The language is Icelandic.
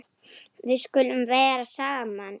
Við skulum vera saman.